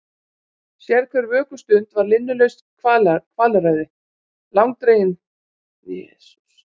Sérhver vökustund var linnulaust kvalræði, langdregin stegling hjá harðvítugum rannsóknarrétti tímans.